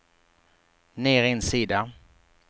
ner en sida